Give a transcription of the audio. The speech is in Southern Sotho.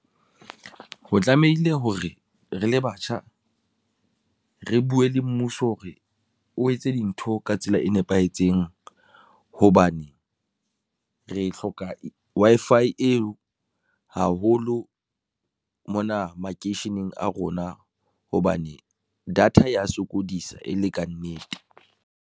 Ho tlamehile hore re le batjha, re buwe le mmuso hore o etse dintho ka tsela e nepahetseng hobane re hloka Wi-Fi eo haholo mona makeisheneng a rona, hobane data ya sokodisa e le kannete.